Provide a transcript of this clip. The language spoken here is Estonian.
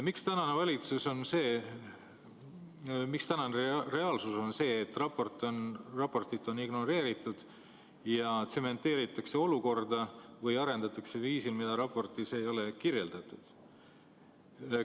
Miks tänane reaalsus on see, et raportit on ignoreeritud ja tsementeeritakse olukorda või arendatakse valdkonda viisil, mida raportis ei ole kirjeldatud?